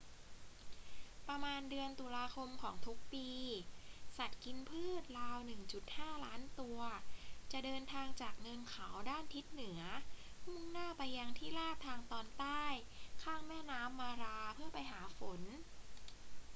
ประมาณเดือนตุลาคมของทุกปี สัตว์กินพืชราว 1.5 ล้านตัวจะเดินทางจากเนินเขาด้านทิศเหนือมุ่งหน้าไปยังที่ราบทางตอนใต้ ข้ามแม่น้ำมาราเพื่อไปหาฝน